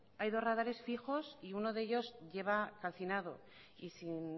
hay dos radares fijos y uno de ellos lleva calcinado y sin